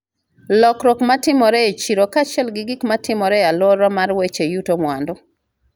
lokruok ma timore e chiro kaachiel gi gik ma timore e alwora mar weche yuto mwandu,